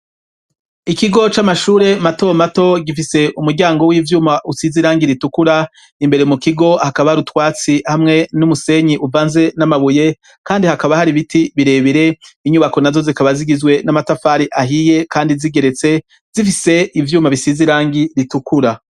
Ikigo c'amashure mato mato gifise umuryango w'ivyuma usize irangi ritukura imbere mu kigo hakaba rutwatsi hamwe n'umusenyi uvanze n'amabuye kandi hakaba hari biti birebere inyubako na zo zikaba zigizwe n'amatafari ahiye kandi zigeretse zifise ivyuma bisizirangi ritukura.